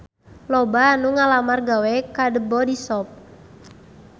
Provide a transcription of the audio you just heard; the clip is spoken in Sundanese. Loba anu ngalamar gawe ka The Body Shop